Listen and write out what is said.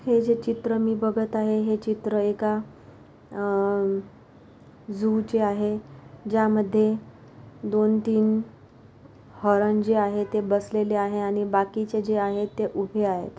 हे जे चित्र मी बघत आहे हे चित्र एका अ- झु चे आहे ज्यामध्ये दोन-तीन हरण जे आहे बसलेले आहे आणि बाकीचे जे आहे ते उभे आहेत.